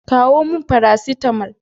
Kawo min Faracetamal.